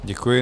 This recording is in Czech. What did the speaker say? Děkuji.